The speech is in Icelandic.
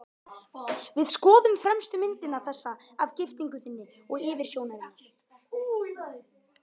Við skoðuðum fremstu myndina, þessa af giftingunni þinni og yfirsjónarinnar.